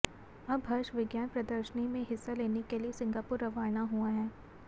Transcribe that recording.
अब हर्ष विज्ञान प्रदर्शनी में हिस्सा लेने के लिए सिंगापुर रवाना हुआ है